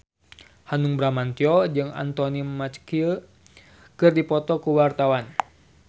Hanung Bramantyo jeung Anthony Mackie keur dipoto ku wartawan